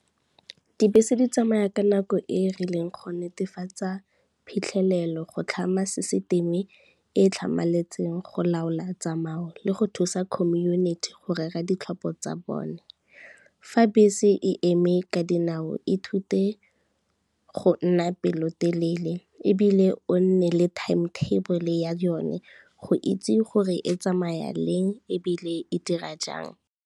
Dibese di tsamaya ka nako e e rileng go netefatsa phitlhelelo, go tlhama system-e e tlhamaletseng, go laola tsamao le go thusa community go rera ditlhopho tsa bone. Fa bese e eme ka dinao e thute go nna pelotelele ebile o nne le timetable ya yone, go itse gore e tsamaya leng ebile e dira jang.